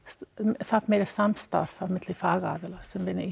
þarf meira samstarf á milli fagaðila sem vinna í